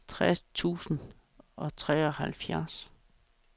tres tusind og treoghalvfjerds